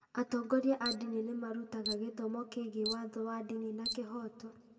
Atongoria a ndini nĩ marutaga gĩthomo kĩĩgiĩ watho wa ndini na kĩhooto.